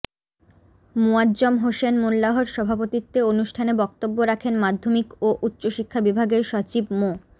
মোয়াজ্জম হোসেন মোল্লাহর সভাপতিত্বে অনুষ্ঠানে বক্তব্য রাখেন মাধ্যমিক ও উচ্চ শিক্ষা বিভাগের সচিব মো